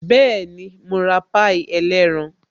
Bẹẹni, mo ra pie ẹlẹ́ran